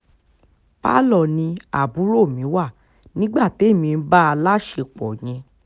palo ni àbúrò mi wà nígbà témi ń bá a láṣepọ̀ yẹn